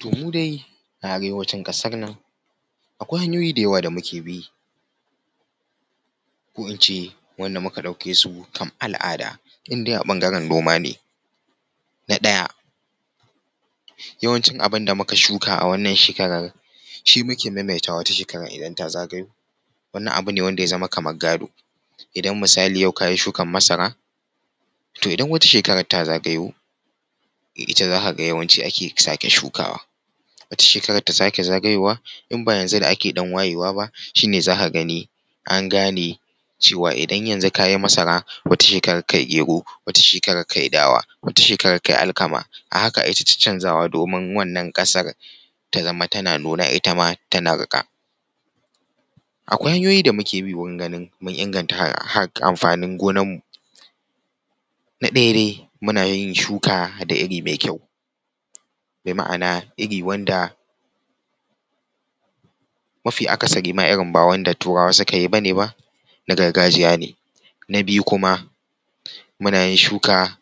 Toh mu dai a arewacin ƙasar nan akwai hanyoyi da yawa da muke bi ko in ce wanda muka ɗauke su kam al’ada in dai a ɓangaren noma ne. Na ɗaya yawancin abin da muka shuka a wannan shekarar shi muke maimaitawa wata shekarar idan ta zagayo wannan wani abu ne da ya zama kamar gado. Idan misali yau ka yi shukar masara, toh idan wata shekarar ta zagayo ita za ka ga yawanci ake sake shukawa, wata shekarar ta sake zagayowa in ba yanzu da ake dan wayewa ba shine za ka gani an gane cewa idan yanzu ka yi masara wata shekarar ka yi gero, wata shekarar ka yi dawa wata shekarar ka yi alkama, a haka ake ta caccanzawa domin wannan ƙasar ta zama tana nuna ita ma tana riƙa. Akwai hanyoyi da muke bi wurin ganin mun inganta haƙar amfanin gonar mu. Na ɗaya dai muna yin shuka da iri mai kyau, bi ma’ana iri wanda mafi akasari ma irin ba wanda turawa suka yi bane ba na gargajiya ne. Na biyu kuma, muna yin shuka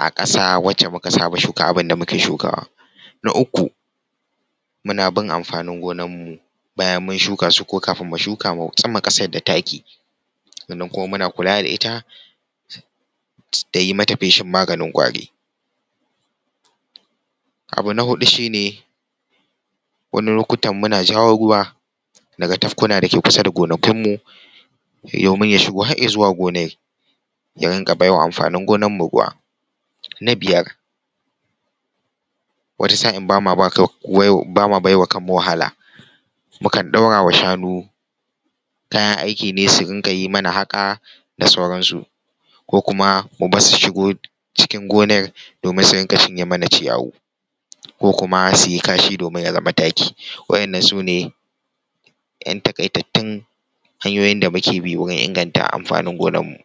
a ƙasa wacce muka saba shuka abin da muke shukawa. Na uku muna bin amfanin gonar mu bayan mun shuka su ko kafin mu shuka su mu tsuma ƙasar da taki, sannan kuma muna kula da ita da yi mata feshin maganin ƙwari. Abu na huɗu shine wani lokutan muna jawo ruwa daga tafkuna da suke kusa da gonakin mu domin ya shigo har ya zuwa gonar ya rinƙa baiwa amfanin gonar mu ruwa. Na biyar, wata sa’in bama baiwa kan mu wahala mukan ɗaura wa shanu kayan aiki ne su rinƙa yi mana haƙa da sauran su ko kuma mu barsu su shiga cikin gonar domin su rinƙa cinye mana ciyawu kuma su yi kashi domin ya zama taki. Wa’innan sune ‘yan taƙaitattun hanyoyin da muke bi wurin inganta amfanin gonar mu.